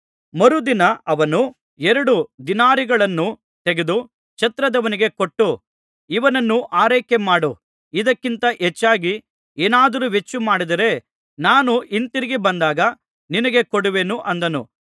ಮರುದಿನ ಅವನು ಎರಡು ದಿನಾರಿಗಳನ್ನು ತೆಗೆದು ಛತ್ರದವನಿಗೆ ಕೊಟ್ಟು ಇವನನ್ನು ಆರೈಕೆಮಾಡು ಇದಕ್ಕಿಂತ ಹೆಚ್ಚಾಗಿ ಏನಾದರೂ ವೆಚ್ಚಮಾಡಿದರೆ ನಾನು ಹಿಂತಿರುಗಿ ಬಂದಾಗ ನಿನಗೆ ಕೊಡುವೆನು ಅಂದನು